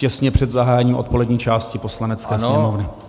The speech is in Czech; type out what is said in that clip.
Těsně před zahájením odpolední části Poslanecké sněmovny.